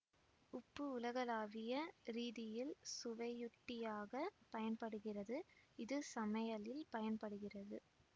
உப்பு உலகளாவிய ரீதியில் சுவையுட்டியாக பயன்படுகிறது இது சமையலில் பயன்படுகிறது